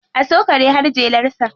A so kare har jelarsa.